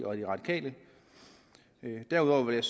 og de radikale derudover vil